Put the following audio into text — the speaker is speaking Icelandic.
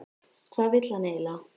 Hvað vill hann eiginlega?